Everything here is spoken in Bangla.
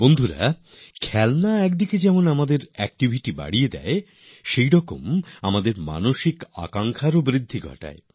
বন্ধুগণ খেলনা একদিকে যেমন সক্রিয়তা বাড়ানোর ব্যাপার হয় তেমনি খেলনা আমাদের ইচ্ছের ডানা মেলারও অবকাশ বটে